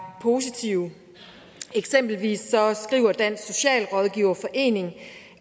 positive eksempelvis skriver dansk socialrådgiverforening